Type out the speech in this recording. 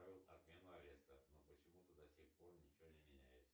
отмену ареста но почему то до сих пор ничего не меняется